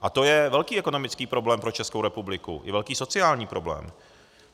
A to je velký ekonomický problém pro Českou republiku, i velký sociální problém.